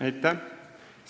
Aitäh!